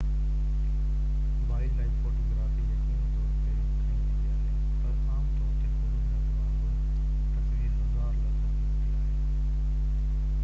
wild life photography يقيني طور تي کنئي ويندي آهي پر عام طور تي فوٽوگرافي وانگر هڪ تصوير هزار لفظن جي هوندي آهي